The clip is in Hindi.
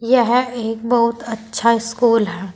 यह एक बहुत अच्छा स्कूल है।